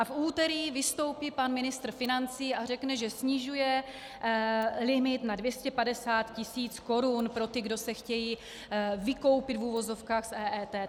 A v úterý vystoupí pan ministr financí a řekne, že snižuje limit na 250 tis. korun pro ty, kdo se chtějí vykoupit, v uvozovkách, z EET.